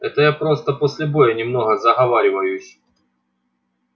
это я просто после боя немного заговариваюсь